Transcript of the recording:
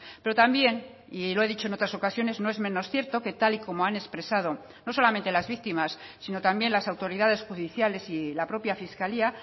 pero también y lo he dicho en otras ocasiones no es menos cierto que tal y como han expresado no solamente las víctimas sino también las autoridades judiciales y la propia fiscalía